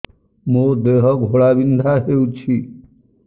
ମୋ ଦେହ ଘୋଳାବିନ୍ଧା ହେଉଛି